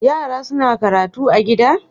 Yara suna karatu a gida?